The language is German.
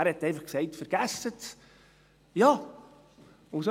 Er sagte einfach: «Vergessen Sie es.»